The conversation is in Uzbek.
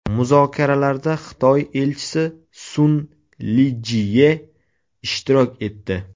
Muzokaralarda Xitoy Elchisi Sun Lijie ishtirok etdi.